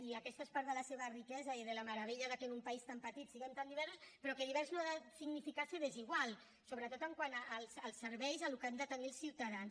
i aquesta és part de la seva riquesa i de la meravella de que en un país tan petit siguem tan diversos però que divers no ha de significar ser desigual sobretot quant als serveis al que han de tenir els ciutadans